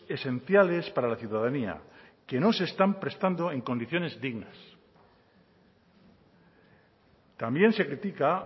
esenciales para la ciudadanía que no se están prestando en condiciones dignas también se critica